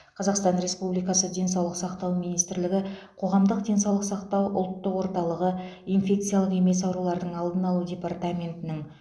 қазақстан республикасы денсаулықты сақтау министрлігі қоғамдық денсаулық сақтау ұлттық орталығы инфекциялық емес аурулардың алдын алу департаментінің